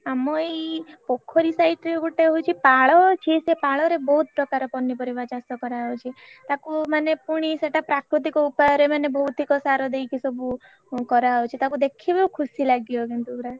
ଆମ ଏଇ ପୋଖରୀ side ରେ ଗୋଟେ ହଉଛି ପାଳ ଅଛି ସିଏ ପାଳରେ ବହୁତ ପ୍ରକାର ପନିପରିବା ଚାଷ କର ହଉଛି ଟାକୁ ମାନେ ପୁଣି ସେଟା ପ୍ରାକୁତିକ ଉପାୟରେ ମାନେ ଭୌତିକ ସାର ଦେଇକି ସବୁ କରା ହଉଛି ତାକୁ ଦେଖିବୁ ଖୁସି ଲାଗିବ କିନ୍ତୁ ପୁରା।